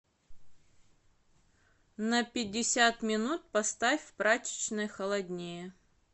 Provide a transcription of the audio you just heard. на пятьдесят минут поставь в прачечной холоднее